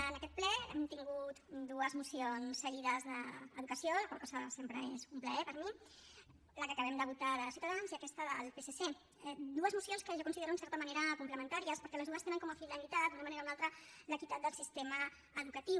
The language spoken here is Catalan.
en aquest ple hem tingut dues mocions seguides d’educació la qual cosa sempre és un plaer per a mi la que acabem de votar de ciutadans i aquesta del psc dues mocions que jo considero en certa manera complementàries perquè les dues tenen com a finalitat d’una manera o una altra l’equitat del sistema educatiu